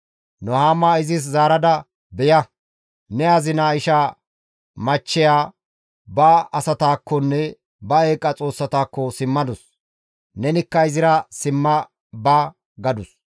Nuhaama izis zaarada, «Beya, ne azina ishaa machcheya ba asataakkonne ba eeqa xoossatakko simmadus. Nenikka izira simma ba» gadus.